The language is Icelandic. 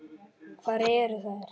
Hvar eru þær?